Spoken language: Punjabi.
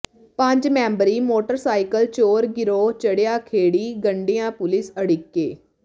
ਪੰਜ ਮੈਂਬਰੀ ਮੋਟਰਸਾਈਕਲ ਚੋਰ ਗਿਰੋਹ ਚੜ੍ਹਿਆ ਖੇੜੀ ਗੰਡਿਆ ਪੁਲਿਸ ਅੜਿੱਕੇ